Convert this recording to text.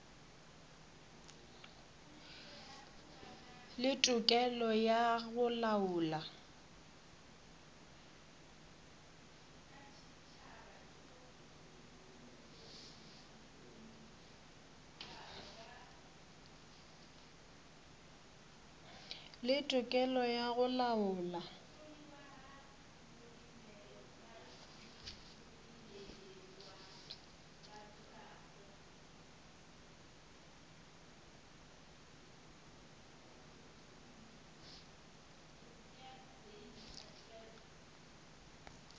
le tokelo ya go laola